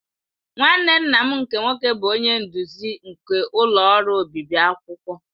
Nwanne nna m nke nwoke bụ onye nduzi nke ọlụ ọrụ obibi akwụkwọ.